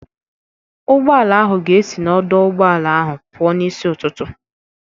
Ụgbọala ahụ ga-esi n'ọdọ ụgbọala ahụ pụọ n'isi ụtụtụ.